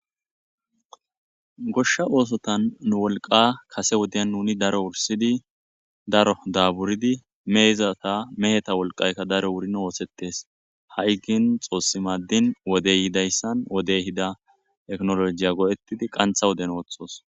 Gosha ossotani nu woliqqa kase wodiyan nuni daro daburidi heheta woyiko meheta woliqayika wurini hayi qaa xossi maddini wodeyi ehida tekinolojiya goyetidi qanitha wodeni